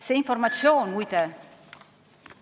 See informatsioon, muide ...